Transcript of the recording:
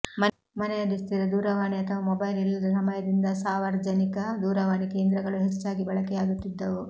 ಮನೆಯಲ್ಲಿ ಸ್ಥಿರ ದೂರವಾಣಿ ಅಥವಾ ಮೊಬೈಲ್ ಇಲ್ಲದ ಸಮಯದಿಂದ ಸಾವರ್ಜನಿಕ ದೂರವಾಣಿ ಕೇಂದ್ರಗಳು ಹೆಚ್ಚಾಗಿ ಬಳಕೆಯಾಗುತ್ತಿದ್ದವು